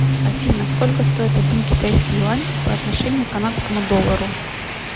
афина сколько стоит один китайский юань по отношению к канадскому доллару